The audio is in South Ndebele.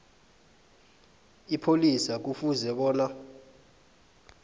ipholisa kufuze bona